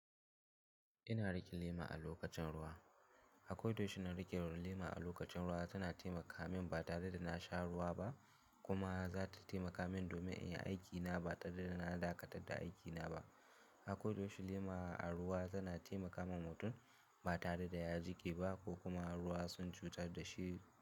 Ina riƙe lema a lokacin ruwa. Akoda yaushe na riƙe lema a lokacin ruwa tana taimaka min ba tare da na sha ruwa ba kuma za ta taimaka min domin in yi aikina ba tare da na dakatar da aikina ba. Akoda yaushe lema a ruwa tana taimaka wa mutum ba tare da ya ji ƙiba ko kuma ruwa sun cutar da shi.